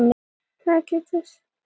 Augu mín virtust tóm, brostin.